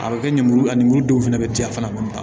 A bɛ kɛ lemuru a lemuru dɔw fana bɛ ci a fana bolo